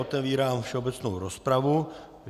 Otevírám všeobecnou rozpravu.